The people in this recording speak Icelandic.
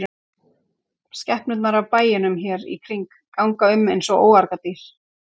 Skepnurnar af bæjunum hér í kring ganga um eins og óargadýr.